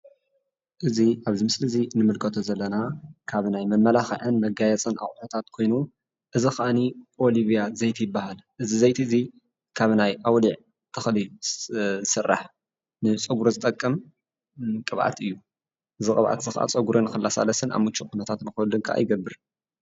እዚ ኣብዚ ምስሊ እዚ ንምልከቶ ዘለና ካብ ናይ መመላክዕን መጋየፂን ኣቁሑታት ኮይኑ እዚ ከዓኒ ኦሊቫ ዘይቲ ይባሃል ። እዚ ዘይቲ እዚ ካብ ናይ ኣውልዕ ተክሊ ዝስራሕ ንፀጉሪ ዝጠቅም ቅባኣት እዩ። እዚ ቅባኣት እዚ ፀጉሪ ንክላሳለስን ኣብ ምችው ኩነታት ንክህሉ ከዓ ይገብር።